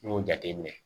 N y'o jateminɛ